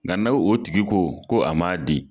Nga na o tigi ko ko a man di.